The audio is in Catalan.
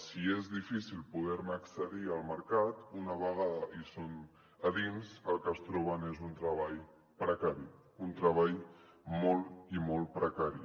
si és difícil poder accedir al mercat una vegada són a dins el que es troben és un treball precari un treball molt i molt precari